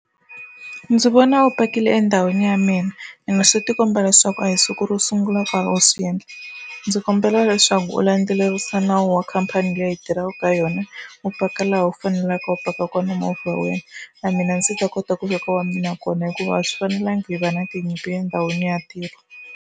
Ndzi vona u pakile endhawini ya mina ene swi tikomba leswaku a hi siku ro sungula u karhi u swi endla ndzi kombela leswaku u landzelerisa nawu wa khampani leyi tirhaka ka yona u paka laha u faneleke u paka kona movha wa wena na mina ndzi ta kota ku veka wa mina kona hikuva a swi fanelangi hi va na tinyimpi endhawini ya ntirho.